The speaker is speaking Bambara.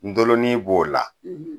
Ndolonin b'o la